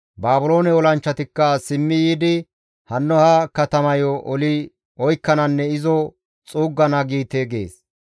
Baabiloone olanchchatikka simmi yiidi hanno ha katamayo oli oykkananne izo xuuggana› giite» gees.